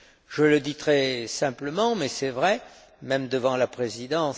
Je le dis très simplement mais c'est vrai, même devant la présidence